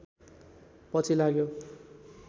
पछि लाग्यो